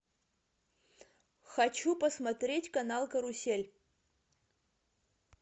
хочу посмотреть канал карусель